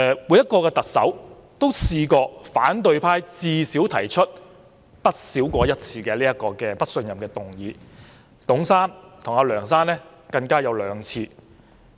每位特首也曾遭反對派提出至少一次"不信任"議案，其中董先生和梁先生更有兩次。